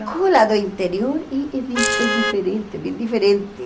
do interior é é di é diferente, bem diferente.